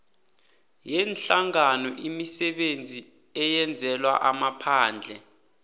yeenhlanganoimisebenzi eyenzelwa amaphandle